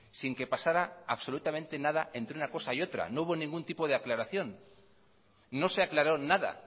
sin que pasará absolutamente nada entre una cosa y otra no hubo ningún tipo de aclaración no se aclaró nada